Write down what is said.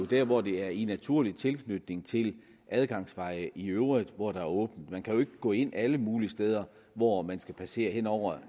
der hvor det er i naturlig tilknytning til adgangsveje i øvrigt hvor der er åbent man kan jo ikke gå ind alle mulige steder hvor man skal passere hen over